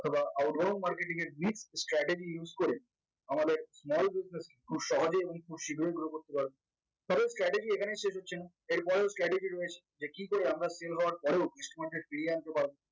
অথবা outhouse marketing এর bid strategy use করে আমাদের small discussing খুব সহজেই এবং খুব শীঘ্রই grow করতে পারবে তবে strategy এখানেই শেষ হচ্ছে না এর পরেও আরো category রয়েছে যে কিকরে আমরা sale হওয়ার পরেও ফিরিয়ে আনতে পারবো